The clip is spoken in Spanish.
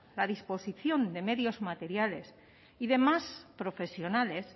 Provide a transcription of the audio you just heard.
la disposición de medios materiales y demás profesionales